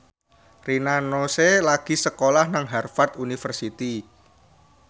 Rina Nose lagi sekolah nang Harvard university